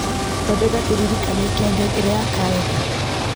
thondeka kĩririkania kĩa ngengere ya karenda